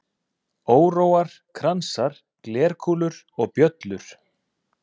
Óróar, kransar, glerkúlur og bjöllur.